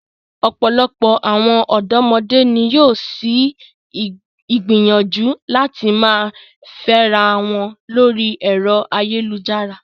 Ọ̀pọ̀lọpọ̀ àwọn ọ̀dọ́mọdé ni yóò ṣì gbìyànjú láti máa fẹ́ra wọn lórí ẹ̀rọ ayélujára.